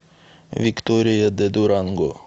виктория де дуранго